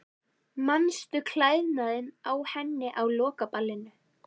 Manstu klæðnaðinn á henni á lokaballinu?